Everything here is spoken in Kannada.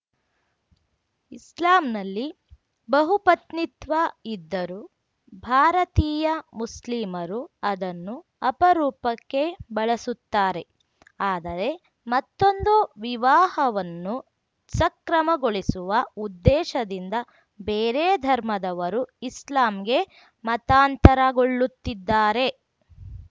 ಇಸ್ಲಾಂನಲ್ಲಿ ಬಹುಪತ್ನಿತ್ವ ಇದ್ದರೂ ಭಾರತೀಯ ಮುಸ್ಲಿಮರು ಅದನ್ನು ಅಪರೂಪಕ್ಕೆ ಬಳಸುತ್ತಾರೆ ಆದರೆ ಮತ್ತೊಂದು ವಿವಾಹವನ್ನು ಸಕ್ರಮಗೊಳಿಸುವ ಉದ್ದೇಶದಿಂದ ಬೇರೆ ಧರ್ಮದವರು ಇಸ್ಲಾಂಗೆ ಮತಾಂತರಗೊಳ್ಳುತ್ತಿದ್ದಾರೆ